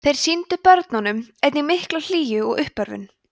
þeir sýndu börnunum einnig mikla hlýju og uppörvun